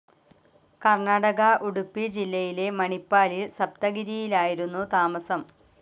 കർണാടക ഉഡുപ്പി ജില്ലയിലെ മണിപ്പാലിൽ സപ്തഗിരിയിലായിരുന്നു താമസം.